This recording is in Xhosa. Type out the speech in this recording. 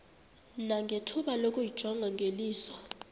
nangethuba lokuyijonga ngeliso